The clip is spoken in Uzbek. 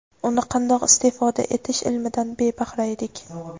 uni qandoq istifoda etish ilmidan bebahra edik.